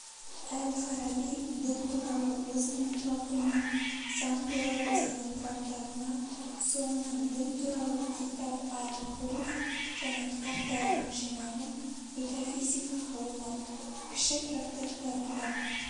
әл-фараби дін туралы өзінің платонын заң туралы деген трактатына соңынан дін туралы китаб ал-хуруф және кітаптарының жинағын метафизика ғылымы кіші трактаттарында